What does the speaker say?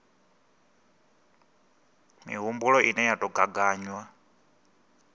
mihumbulo ine ya tou gaganywa